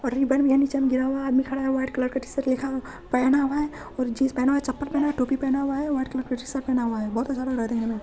और रिब्बन भी है नीचा में गिरा हुआ है आदमी खड़ा है व्हाइट कलर का टी शर्ट लिखा पहना हुआ है और जिन्स पहना हुआ है चप्पल पहना हुआ है टोपी पहना हुआ है व्हाइट कलर का टी-शर्ट पहना हुआ है बोहोत अच्छा लग है देखने मे।